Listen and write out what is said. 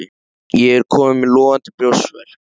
Ég er kominn með logandi brjóstverk.